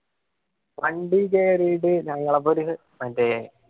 വണ്ടി കേറിയിട്ട് ഞങ്ങള മറ്റേ